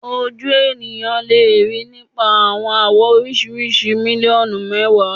Oju eniyan le rii nipa awọn awọ oriṣiriṣi miliọnu mẹwa